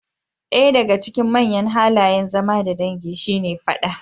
Ɗaya daga cikin manyan halayen zama da dangi shine fada.